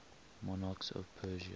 monarchs of persia